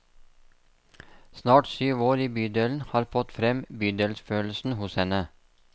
Snart syv år i bydelen har fått frem bydelsfølelsen hos henne.